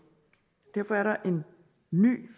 derfor er der en ny